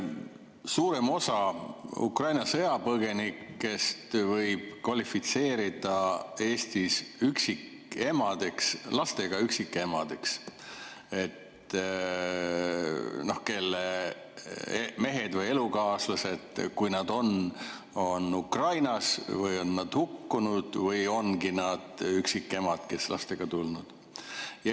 Suurema osa Ukraina sõjapõgenikest võib Eestis kvalifitseerida lastega üksikemadeks, kelle mehed või elukaaslased, kui neid on, on Ukrainas või on nad hukkunud, või ongi üksikemad, kes on siia lastega tulnud.